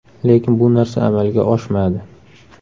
Lekin bu narsa amalga oshmadi.